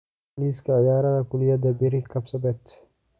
liiska ciyaaraha kuliyada berri kapsabet